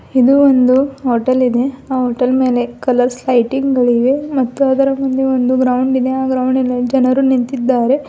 ಇದು ಒಂದು ಹೋಟೆಲ್ ಇದೆ ಹೋಟೆಲ್ ಮೇಲೆ ಕಲರ್ಸ್ ಲೈಟಿಂಗ್ ಗಳಿವೆ ಮತ್ತು ಅದರ ಮುಂದೆ ಒಂದು ಗ್ರೌಂಡ್ ಇದೆ ಆ ಗ್ರೌಂಡಿನಲ್ಲಿ ಜನರು ನಿಂತಿದ್ದಾರೆ.